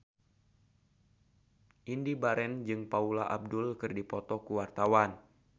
Indy Barens jeung Paula Abdul keur dipoto ku wartawan